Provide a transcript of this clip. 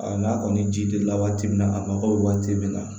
A n'a kɔni ji delila waati min na a mago bɛ waati min na